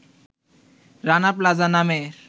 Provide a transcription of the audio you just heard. Rana Plaza নামের